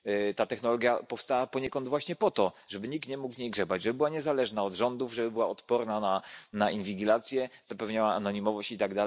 Ta technologia powstała poniekąd właśnie po to, żeby nikt nie mógł w niej grzebać, żeby była niezależna od rządów, żeby była odporna na inwigilację, zapewniała anonimowość itd.